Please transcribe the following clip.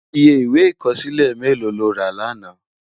Iyé iwé ikòsilé méló ló rá làná?